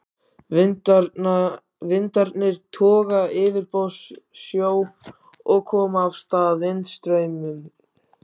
Vindarnir toga í yfirborðssjó og koma af stað vindstraumum.